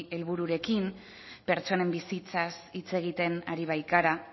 helbururekin pertsonen bizitzaz hitz egiten ari baikara